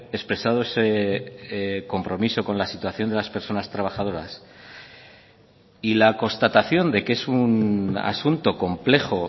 expresado ese compromiso con la situación de las personas trabajadoras y la constatación de que es un asunto complejo